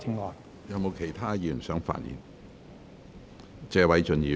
是否有其他委員想發言？